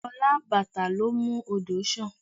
Ọlá àbàtà ló ń mú odò sàn